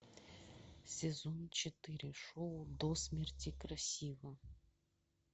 сезон четыре шоу до смерти красива